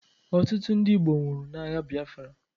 Ọtụtụ ndị Igbo nwụrụ n'agha biafra.